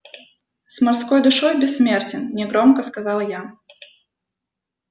с морской душой бессмертен негромко сказал я